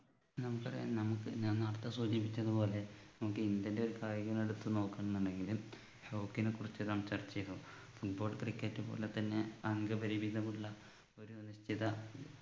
ഞാൻ പറയാം നമുക്ക് ഞാൻ നേരത്തെ സൂചിപ്പിച്ച പോലെ നമുക്ക് ഇന്ത്യൻ്റെ ഒരു കായിക ഇനം എടുത്തു നോക്കുന്നുണ്ടെങ്കില് hockey നെക്കുറിച്ച് സംസാരിച്ചേക്കാം football cricket പോലെ തന്നെ അംഗപരിമിതമുള്ള ഒരു നിശ്ചിത